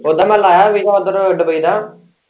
ਉੱਦਾ ਮੈਂ ਲਾਇਆ ਵੀਜਾ ਉੱਧਰ ਦੁੱਬਈ ਦਾ।